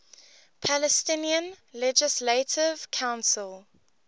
palestinian legislative council